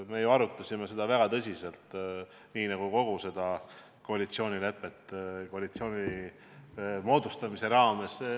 Me arutasime seda teemat väga tõsiselt, nii nagu kogu koalitsioonilepet koalitsiooni moodustamise raames.